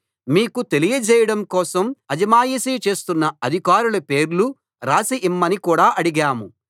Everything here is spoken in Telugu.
మీకు తెలియజేయడం కోసం అజమాయిషీ చేస్తున్న అధికారుల పేర్లు వ్రాసి ఇమ్మని కూడా అడిగాం